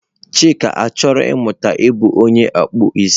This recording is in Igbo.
Chika chọrọ ịmụta ịbụ onye akpụ isi